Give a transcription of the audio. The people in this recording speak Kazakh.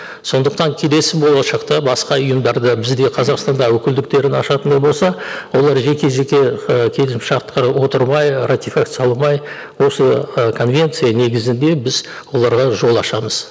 сондықтан келесі болашақта басқа ұйымдар да бізде қазақстанда өкілдіктерін ашатын болса олар жеке жеке ы келісімшартқа отырмай ратификацияламай осы ы конвенция негізінде біз оларға жол ашамыз